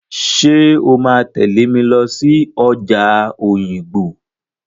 Ṣé o máa tẹ̀lé mi lọ sí ọjà Òyìngbò?